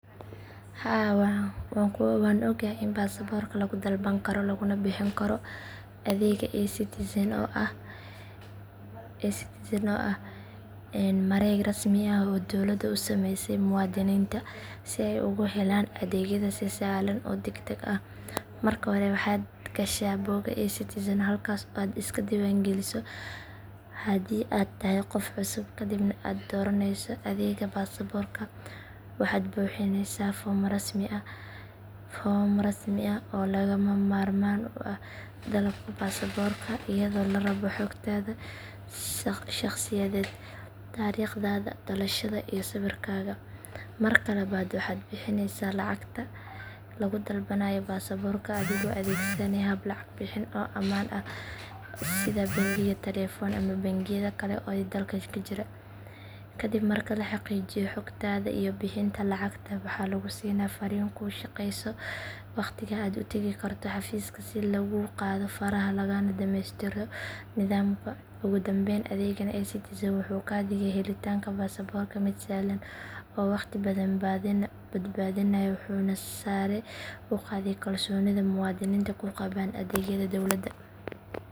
Haa waanku ogahay in baasaborka lagu dalban karo laguna bixin karo adeegga eCitizen oo ah mareeg rasmi ah oo dowladda u sameysay muwaadiniinta si ay ugu helaan adeegyada si sahlan oo degdeg ah. Marka hore waxaad gashaa bogga eCitizen halkaasoo aad iska diiwaangelinayso haddii aad tahay qof cusub kadibna aad dooranayso adeegga baasaborka. Waxaad buuxinaysaa foom rasmi ah oo lagama maarmaan u ah dalabka baasaborka iyadoo la rabo xogtaada shakhsiyeed, taariikhdaada dhalashada iyo sawirkaaga. Marka labaad waxaad bixinaysaa lacagta lagu dalbanayo baasaborka adigoo adeegsanaya hab lacag bixin oo ammaan ah sida bangiga taleefanka ama bangiyada kale ee dalka ka jira. Kadib marka la xaqiijiyo xogtaada iyo bixinta lacagta waxaa lagu siinaa fariin kuu sheegaysa waqtiga aad u tagi karto xafiiska si laguu qaado faraha lagana dhammaystiro nidaamka. Ugu dambayn adeeggan eCitizen wuxuu ka dhigay helitaanka baasaborka mid sahlan oo waqti badan badbaadinaya wuxuuna sare u qaaday kalsoonida muwaadiniinta ku qabaan adeegyada dowladda.